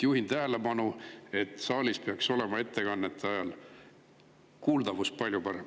Juhin tähelepanu, et saalis peaks ettekannete ajal olema kuuldavus palju parem.